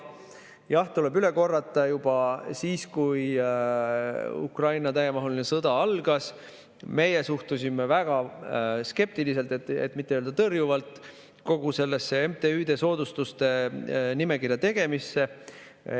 Jah, tuleb üle korrata: juba siis, kui Ukraina täiemahuline sõda algas, meie suhtusime väga skeptiliselt, et mitte öelda tõrjuvalt kogu sellesse soodustatud MTÜ-de nimekirja tegemisse.